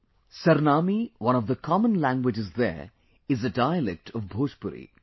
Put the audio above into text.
'Sarnami' one of the common languages there is a dialect of Bhojpuri